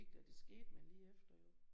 Ikke det da det skete men lige efter jo